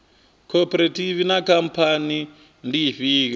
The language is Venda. khophorethivi na khamphani ndi ifhio